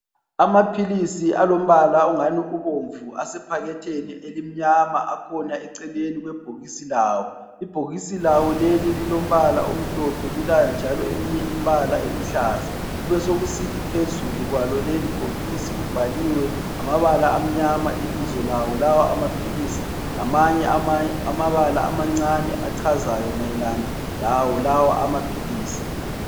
Amaphilisi alombala ongani ubomvu asephakethini elimnyama akhona eceleni kwebhokisi lawo. Ibhokisi leli lilombala omhlophe, lilawo njalo eminye imbala eluhlaza, kubesekusithi phezulu kwalo leli bhokisi kubhaliwe ngamabala amnyama ibizo lawo lawa amaphilisi lamanye amabala amancane achazayo mayelana lawo lawa amaphilisi.